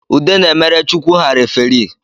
Ude na-emere chukwu ha referi